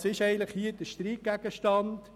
Was ist eigentlich hier der Streitgegenstand?